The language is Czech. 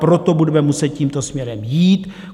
Proto budeme muset tímto směrem jít.